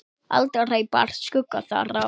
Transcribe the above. Aldrei bar skugga þar á.